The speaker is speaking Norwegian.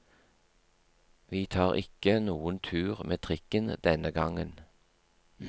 Vi tar ikke noen tur med trikken denne gangen.